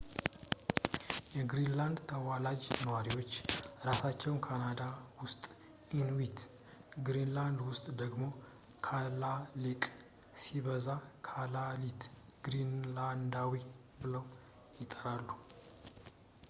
የግሪንላንድ ተዋላጅ ነዋሪዎች ራሳቸውን ካናዳ ውስጥ ኢንዊት፣ ግሪንላንድ ውስጥ ደግሞ ካላሌቅ ሲበዛ ካላሊት፣ ግሪንላንዳዊ ብለው ይጠራሉ